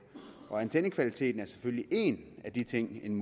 og antennekvaliteten er selvfølgelig en af de ting en